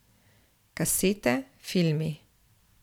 Kasete, filmi ...